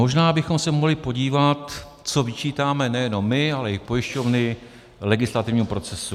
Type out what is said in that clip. Možná bychom se mohli podívat, co vyčítáme nejenom my, ale i pojišťovny legislativním procesům.